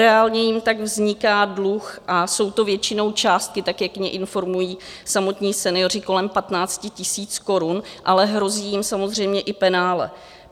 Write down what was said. Reálně jim tak vzniká dluh a jsou to většinou částky tak, jak je informují samotní senioři, kolem 15 000 korun, ale hrozí jim samozřejmě i penále.